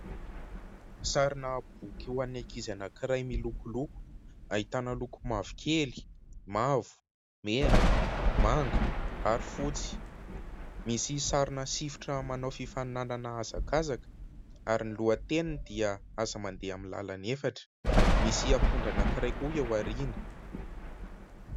Sary boky vo an'ny ankizy anankiray milokoloko ahitana loko mavokely, mavo, mena, manga ary fotsy misy sary sifotra manao fifaninanana hazakazaka ary ny lohateniny dia aza mandeha amin'ny lalany efatra, misy Apondra anankiray koa eo aoriana.